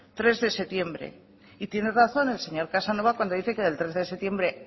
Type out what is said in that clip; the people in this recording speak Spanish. tres de septiembre y tiene razón el señor casanova cuando dice que el tres de septiembre